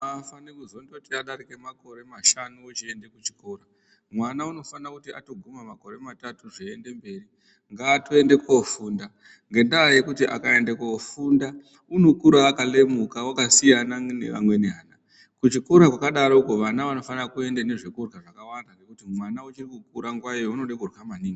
Hafaniki kuzondoti adarika makore mashanu vochende kuchikora mwana unofanira kuti atoguma makore matatu kuende mberi ngatoende kofunda. Ngendaa yekuti akaende kofunda unokura akalemuka unosiyana neanweni ana kuchikora kwakadaroko vana vanofane kuende nezvekurya zvakawanda, ngendaa yekuti mwana uchikukura nguvayo unoda kurya maningi.